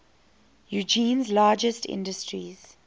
eugene's largest industries